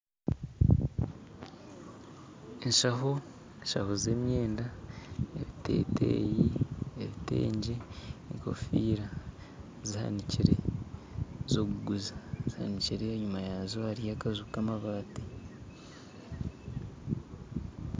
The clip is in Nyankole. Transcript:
Eshaaho z'emyenda ebiteteeyi, ebitengye, egofiira, zihanikire ez'okuguza zihanikire enyuma yaazo hariyo akanju k'amabaati